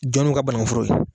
Jɔn nun ka bananku foro ye.